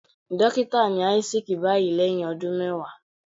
Dókítà ni Isaac báyìí lẹ́hìn ọdún mẹwàá.